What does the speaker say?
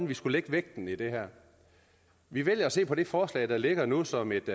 vi skulle lægge vægten i det vi vælger at se på det forslag der ligger nu som et